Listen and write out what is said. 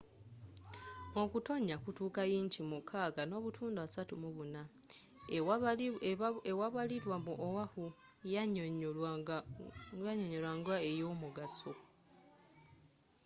okutonnya kutuuka yinki 6:34 ewabalirwa mu oahu yannyonnyolwa nga ey'omugaso